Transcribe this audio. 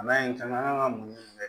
N'a ye in kama an kan ka mun kɛ